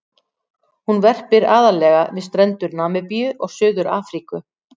Hún verpir aðallega við strendur Namibíu og Suður-Afríku.